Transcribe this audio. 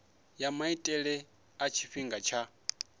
ya maitele a tshifhinga tsha